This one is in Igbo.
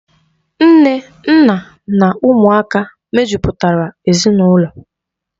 Nne, nna na ụmụaka mejupụtara ezinaụlọ.